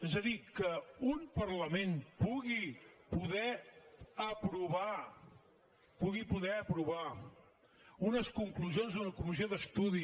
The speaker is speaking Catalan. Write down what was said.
és a dir que un parlament pugui poder aprovar pugui poder aprovar unes conclusions d’una comissió d’estudi